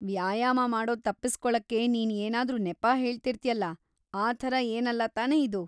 ವ್ಯಾಯಾಮ ಮಾಡೋದ್ ತಪ್ಪಿಸ್ಕೊಳಕ್ಕೆ ನೀನ್ ಏನಾದ್ರೂ ನೆಪ ಹೇಳ್ತಿರ್ತ್ಯಲ್ಲ, ಆ ಥರ ಏನಲ್ಲ ತಾನೇ ಇದು?